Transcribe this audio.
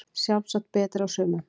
Sjálfsagt betri á sumum